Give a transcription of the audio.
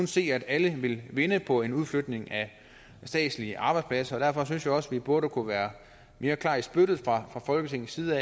se at alle vil vinde på en udflytning af statslige arbejdspladser derfor synes jeg også at vi burde kunne være mere klar i spyttet fra folketingets side